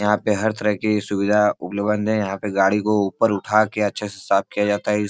यहां पे हर तरह की सुविधा उपलब्ध है यहां पे गाड़ी को ऊपर उठा के अच्छे से साफ किया जाता है इ --